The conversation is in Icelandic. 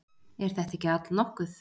Er þetta ekki allnokkuð?